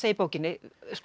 í bókinni